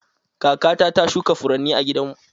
Kakata ta shuka furanni a gidanmu.